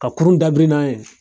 Ka kurun dabiri n'an ye